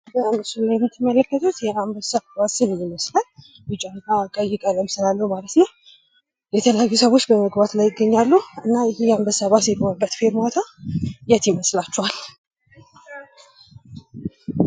በምስሉ ላይ የምትመለከቱት የአንበሳ ባስ ይመስላል። ቢጫ ፣ቀይ ቀለም ስላለው ማለት ነው። የተለያዩ ሰዎች በመግባት ላይ ይገኛሉ። እና ይሄ አንበሳ ባስ የቆመበት ፌርማታ የት ይመስላችኋል?